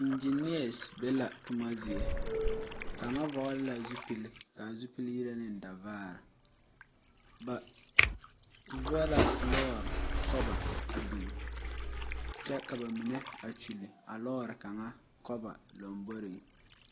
Engineers be la toma zie, kaŋa vɔgeli la zupili kaa zupili yire ne davaar ba vɔ la lɔɔre kɔba a biŋ, kyɛ ka ba mine kyoli. a lɔɔre kaŋa kɔba lamboriŋ